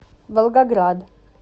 волгоград